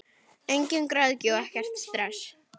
Engin græðgi og ekkert stress!